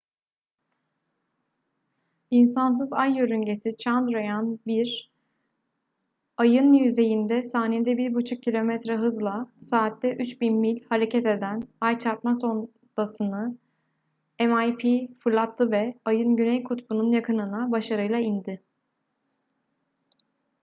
i̇nsansız ay yörüngesi chandrayaan-1 ay'ın yüzeyinde saniyede 1,5 kilometre hızla saatte 3000 mil hareket eden ay çarpma sondası'nı mip fırlattı ve ay'ın güney kutbunun yakınına başarıyla indi